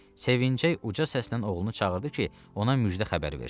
Sevinçək uca səslə oğlunu çağırdı ki, ona müjdə xəbər versin.